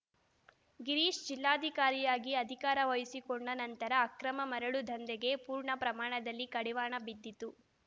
ಗಿರೀಶ್‌ ಜಿಲ್ಲಾಧಿಕಾರಿಯಾಗಿ ಅಧಿಕಾರ ವಹಿಸಿಕೊಂಡ ನಂತರ ಅಕ್ರಮ ಮರಳು ದಂಧೆಗೆ ಪೂರ್ಣ ಪ್ರಮಾಣದಲ್ಲಿ ಕಡಿವಾಣ ಬಿದ್ದಿತ್ತು